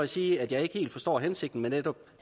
sige at jeg ikke helt forstår hensigten med netop